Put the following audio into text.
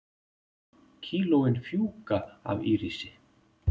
Kílóin fjúka af Írisi